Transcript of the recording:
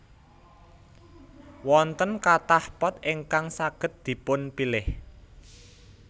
Wonten kathah pot ingkang saged dipunpilih